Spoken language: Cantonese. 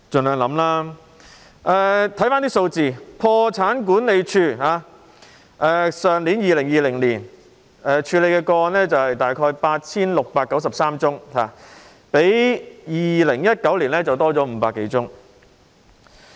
看看相關數字，破產管理署去年處理的個案大約 8,693 宗，較2019年增加500多宗。